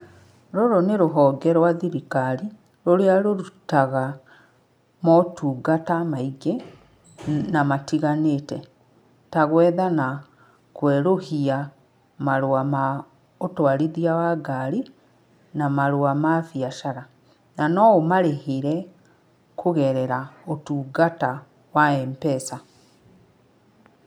Rũrũ nĩ rũhonge rwa thirikari, rũrĩa rũrutaga motungata maingĩ na matiganĩte, ta gwetha na kwerũhia marũa ma ũthwarithia wa ngari, na marũa ma mbiacara. Na no ũmarĩhire kũgerera ũtungata wa Mpesa.